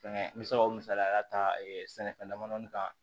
Fɛnkɛ n bɛ se ka o misaliya ta sɛnɛfɛn dama damani kan